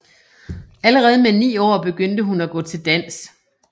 Allerede med ni år begyndte hun at gå til dans